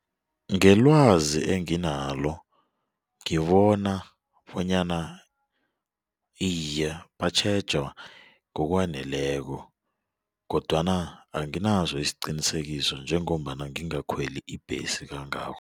Ngelwazi enginalo ngibona bonyana iye batjhejwa ngokwaneleko kodwana anginaso isiqinisekiso njengombana ngingakweli ibhesi kangako.